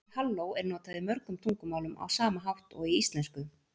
Orðið halló er notað í mörgum tungumálum á sama hátt og í íslensku.